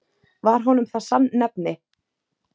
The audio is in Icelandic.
Var honum það sannnefni.